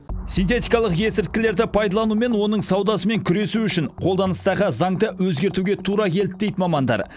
синтетикалық есірткілерді пайдалану мен оның саудасымен күресу үшін қолданыстағы заңды өзгертуге тура келді дейді мамандар